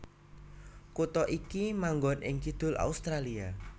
Kutha iki manggon ing kidul Australia